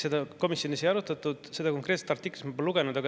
Seda komisjonis ei arutatud ja seda konkreetset artiklit ma pole lugenud.